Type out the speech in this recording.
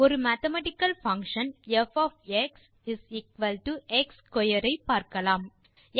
ஒரு mathematical function ப் of x x square ஐ பார்க்கலாம்